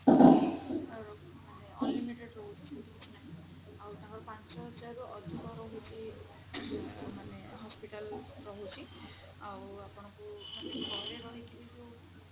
ମାନେ unlimited ରହୁଛି ସେମିତି କିଛି ନାହିଁ ଆଉ ତାଙ୍କର ପାଞ୍ଚ ହଜାରରୁ ଅଧିକ ରହୁଛି ମାନେ hospital ରହୁଛି ଆଉ ଆପଣଙ୍କୁ ମାନେ ଘରେ ରହିକି ବି ଯୋଉ